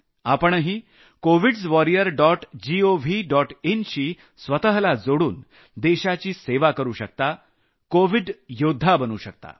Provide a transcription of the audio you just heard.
आपणही covids warriors dot gov dot in शी जोडून देशाची सेवा करू शकता कोविड योद्धा बनू शकता